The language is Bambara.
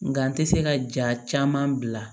Nka n tɛ se ka jaa caman bila